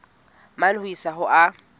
mane ho isa ho a